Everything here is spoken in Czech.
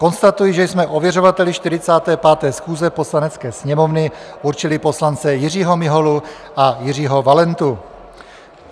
Konstatuji, že jsme ověřovateli 45. schůze Poslanecké sněmovny určili poslance Jiřího Miholu a Jiřího Valentu.